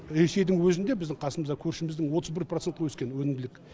ресейдің өзінде біздің қасымызда көршіміздің отыз бір процентке өскен өнімділік